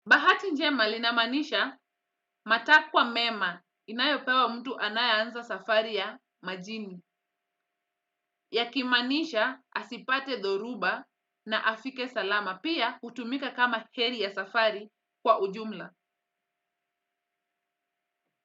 Bahati njema inamaanisha matakwa mema inayopewa mtu anaeanza safari ya majini. Ya kimanisha asipate dhoruba na afike salama pia hutumika kama heri ya safari kwa ujumla.